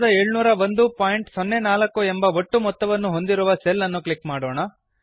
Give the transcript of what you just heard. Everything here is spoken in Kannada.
970104 ಎಂಬ ಒಟ್ಟು ಮೊತ್ತವನ್ನು ಹೊಂದಿರುವ ಸೆಲ್ ಅನ್ನು ಕ್ಲಿಕ್ ಮಾಡೋಣ